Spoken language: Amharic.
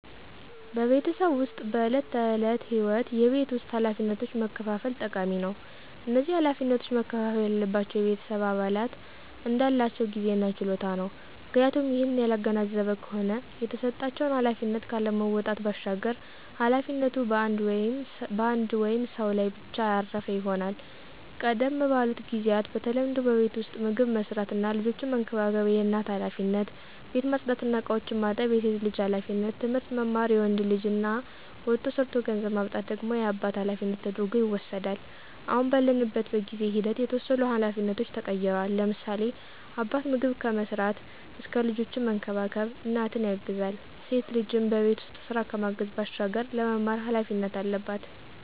በቤተሰብ ዉስጥ በዕለት ተዕለት ህይወት የቤት ውስጥ ኃላፊነቶችን መከፋፈል ጠቃሚ ነው። እነዚህ ኃላፊነቶች መከፍፈል ያለባቸው የቤተሰብ አባላት እንዳላቸው ጊዜ እና ችሎታ ነው፤ ምክንያቱም ይህንን ያላገናዘበ ከሆነ የተሰጣቸውን ኃላፊነት ካለመወጣት ባሻገር ኃላፊነቱ በአንድ ወይም ሰው ላይ ብቻ ያረፈ ይሆናል። ቀደም ባሉት ጊዚያት በተለምዶ በቤት ዉስጥ ምግብ መስራት እና ልጆችን መንከባከብ የእናት ኃላፊነት፣ ቤት ማፅዳት እና እቃዎችን ማጠብ የሴት ልጅ ኃላፊነት፣ ትምህርት መማር የወንድ ልጅ እና ወጥቶ ሠርቶ ገንዘብ ማምጣት ደግሞ የአባት ኃላፊነት ተደርጐ ይወስዳል። አሁን ባለንበት በጊዜ ሂደት የተወሰኑ ኃላፊነቶች ተቀይረዋል፤ ለምሳሌ፦ አባት ምግብ ከመስራት እስከ ልጆችን መንከባከብ እናትን ያግዛል፣ ሴት ልጅም በቤት ውስጥ ስራ ከማገዝ ባሻገር ለመማር ኃላፊነት አለባት።